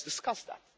now? Let's discuss